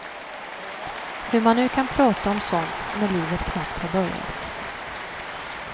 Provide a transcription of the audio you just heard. Hur man nu kan prata om sånt när livet knappt har börjat.